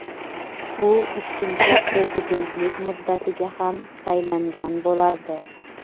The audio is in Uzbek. u ikkinchi prezidentlik muddatiga ham saylangan bo‘lardi.